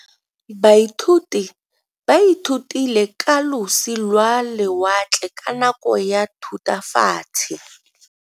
Baithuti ba ithutile ka losi lwa lewatle ka nako ya Thutafatshe.